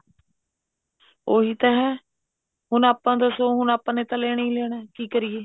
ਉਹੀ ਤਾਂ ਹੈ ਹੁਣ ਆਪਾਂ ਦਸੋ ਹੁਣ ਆਪਾਂ ਨੇ ਤਾਂ ਲੈਣਾ ਹੀ ਲੈਣਾ ਕੀ ਕਰੀਏ